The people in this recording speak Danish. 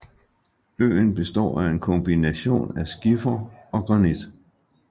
Øen består af en kombination af skifer og granit